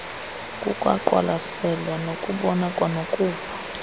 kukwaqwalaselwa nokubona kwanokuva